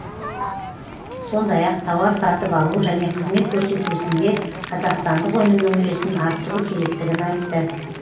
сондай ақ тауар сатып алу және қызмет көрсету ісінде қазақстандық өнімнің үлесін арттыру керектігін айтты